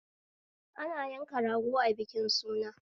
Ana yakan rago a bikin suna